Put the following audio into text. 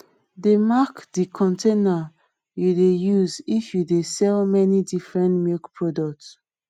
dey mark de containers you dey use if you dey sell many different milk product